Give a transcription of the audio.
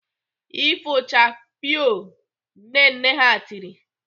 "Ifochakpiiiio" Nne nne ha tiri!